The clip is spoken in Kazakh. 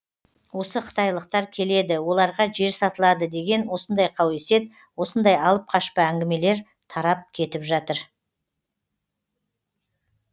осы қытайлықтар келеді оларға жер сатылады деген осындай қауесет осындай алып қашпа әңгімелер тарап кетіп жатыр